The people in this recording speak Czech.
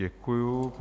Děkuji.